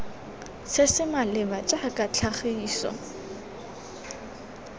se se maleba jaaka tlhagiso